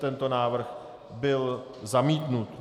Tento návrh byl zamítnut.